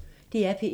DR P1